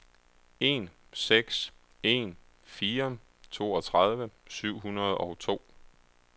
en seks en fire toogtredive syv hundrede og to